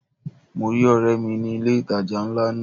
Mo rí ọ̀rẹ́ mi ní ilé ìtajà ńlá náà.